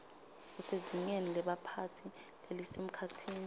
usezingeni lebaphatsi lelisemkhatsini